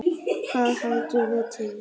Hvernig verðum við til?